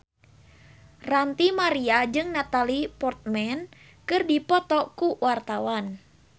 Ranty Maria jeung Natalie Portman keur dipoto ku wartawan